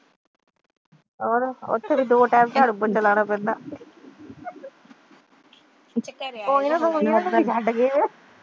ਤੁਸੀਂ ਘਰੇ